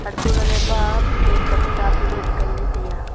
untoh lahley ma bullet tamta bullet nganley taiya.